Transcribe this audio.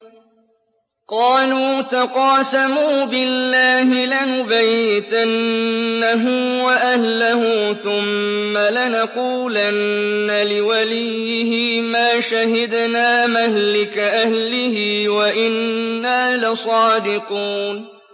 قَالُوا تَقَاسَمُوا بِاللَّهِ لَنُبَيِّتَنَّهُ وَأَهْلَهُ ثُمَّ لَنَقُولَنَّ لِوَلِيِّهِ مَا شَهِدْنَا مَهْلِكَ أَهْلِهِ وَإِنَّا لَصَادِقُونَ